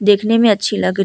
देखने में अच्छी लग रही --